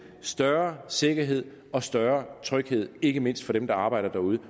større sikkerhed og større tryghed ikke mindst for dem der arbejder derude